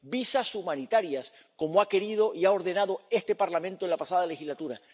Visados humanitarios, como ha querido y ha ordenado este Parlamento en la pasada legislatura.